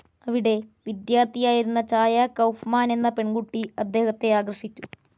അവിടെ വിദ്യാർത്ഥിയായിരുന്ന ചായ കൗഫ്മാനെന്ന പെൺകുട്ടി അദ്ദേഹത്തെ ആകർഷിച്ചു.